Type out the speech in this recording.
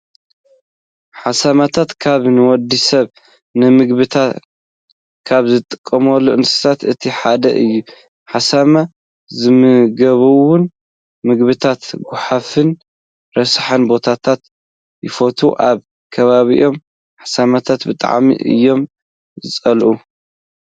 ሓሰማታት ካብ ንወዲ ሰብ ንምግብነት ካብ ዝጠቅሙ እንስሳታት እቲ ሓደ እዩ። ሓሰማ ዝምገብዎም ምግብታት ጓሓፍን ረሳሕ ቦታታትን ይፈትው። ኣብ ከባቢና ሓሰማታት ብጣዕሚ እዮም ዝፅልኡ።